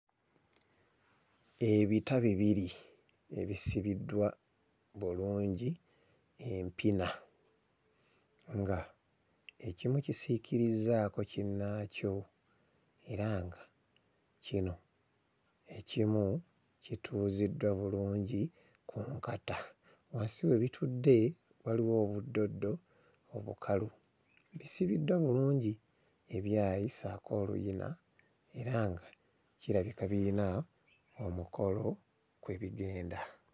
Ebita bibiri ebisibiddwa bulungi empina nga ekimu kisiikirizzaako kinnaakyo era nga kino ekimu kituuziddwa bulungi ku nkata. Wansi we bitudde waliwo obuddoddo obukalu. Bisibibwa bulungi ebyayi ssaako oluyina, era nga kirabika biyina omukolo kwe bigenda.